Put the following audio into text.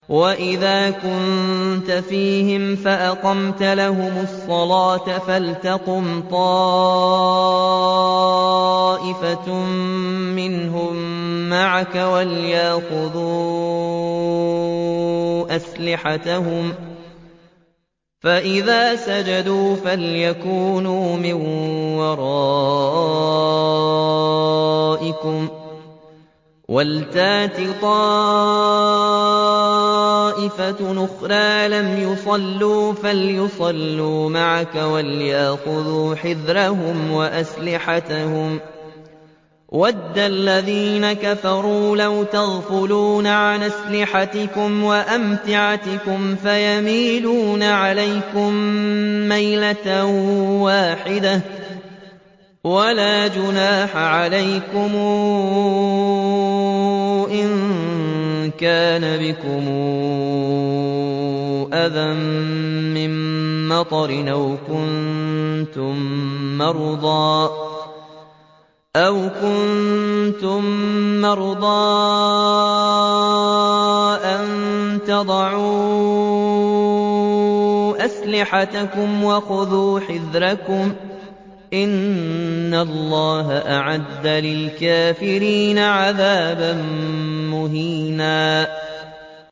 وَإِذَا كُنتَ فِيهِمْ فَأَقَمْتَ لَهُمُ الصَّلَاةَ فَلْتَقُمْ طَائِفَةٌ مِّنْهُم مَّعَكَ وَلْيَأْخُذُوا أَسْلِحَتَهُمْ فَإِذَا سَجَدُوا فَلْيَكُونُوا مِن وَرَائِكُمْ وَلْتَأْتِ طَائِفَةٌ أُخْرَىٰ لَمْ يُصَلُّوا فَلْيُصَلُّوا مَعَكَ وَلْيَأْخُذُوا حِذْرَهُمْ وَأَسْلِحَتَهُمْ ۗ وَدَّ الَّذِينَ كَفَرُوا لَوْ تَغْفُلُونَ عَنْ أَسْلِحَتِكُمْ وَأَمْتِعَتِكُمْ فَيَمِيلُونَ عَلَيْكُم مَّيْلَةً وَاحِدَةً ۚ وَلَا جُنَاحَ عَلَيْكُمْ إِن كَانَ بِكُمْ أَذًى مِّن مَّطَرٍ أَوْ كُنتُم مَّرْضَىٰ أَن تَضَعُوا أَسْلِحَتَكُمْ ۖ وَخُذُوا حِذْرَكُمْ ۗ إِنَّ اللَّهَ أَعَدَّ لِلْكَافِرِينَ عَذَابًا مُّهِينًا